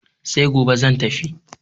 sai gobe za tafi